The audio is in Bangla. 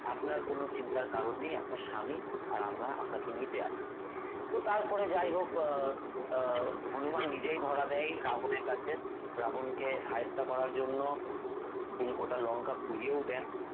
আপনার কোনও চিন্তার কারণ নেই আপনার স্বামী আর আমরা আপনাকে নিতে আসবো তো তারপরে যাই হোক আহ আহ হনুমান নিজেই ধরা দেয় রাবন এর কাছে রাবন কে শায়েস্তা করার জন্য তিনি গোটা লঙ্কা পুড়িয়েও দেন